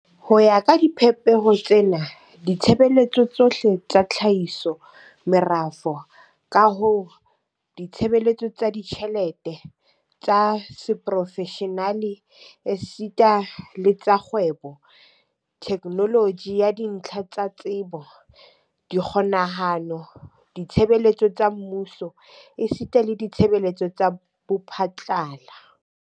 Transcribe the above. Ho ya ka dipehelo tsena, ditshebeletso tsohle tsa tlhahiso, merafo, kaho, ditshebeletso tsa ditjhelete, tsa seprofeshenale esita le tsa kgwebo, theknoloji ya dintlha tsa tsebo, dikgokahano, ditshebeletso tsa mmuso esita le ditshebeletso tsa bophatlala